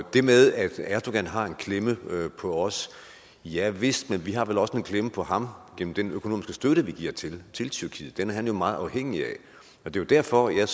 det med at erdogan har en klemme på os javist men vi har vel også en klemme på ham gennem den økonomiske støtte vi giver til til tyrkiet den er han jo meget afhængig af og det var derfor jeg